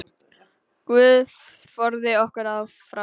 Guð forði okkur frá því.